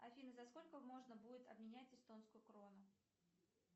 афина за сколько можно будет обменять эстонскую крону